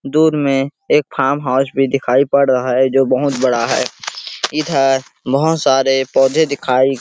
दूर में एक फार्म हाउस भी दिखाई पड़ रहा है जो बहुत बड़ा है इधर बहुत सारॆ पौधे दिखाई --